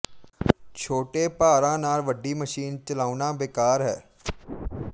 ਛੋਟੇ ਭਾਰਾਂ ਨਾਲ ਵੱਡੀ ਮਸ਼ੀਨ ਚਲਾਉਣਾ ਬੇਕਾਰ ਹੈ